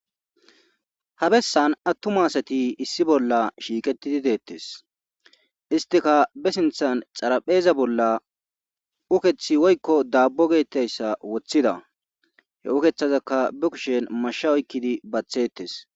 Ha bessan attuma asati issi bolla shiiqetidi dettees istika be siinththan xarapheeza bolla ukeththi woykko dabbo geetayssa woththida he ukethazaka be kushen masha oykkidi baththetees